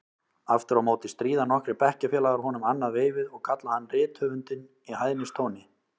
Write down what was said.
Aftur á móti stríða nokkrir bekkjarfélagar honum annað veifið og kalla hann rithöfundinn í hæðnistóni.